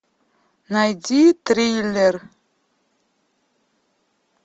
найди триллер